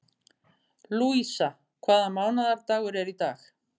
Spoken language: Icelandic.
Lúísa, hvaða mánaðardagur er í dag?